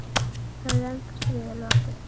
Löngu stríði er lokið.